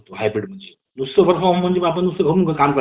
कार्य वाही करत येत नाही